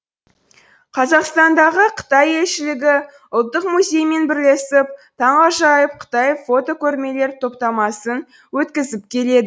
қазақстандағы қытай елшілігі ұлттық музеймен бірлесіп таңғажайып қытай фотокөрмелер топтамасын өткізіп келеді